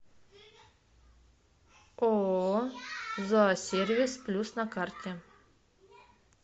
ооо зоосервис плюс на карте